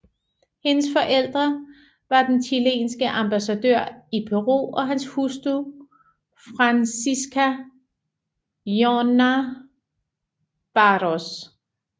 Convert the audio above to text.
Hendes forældre var den chilenske ambassadør i Peru og hans hustru Francisca Llona Baaros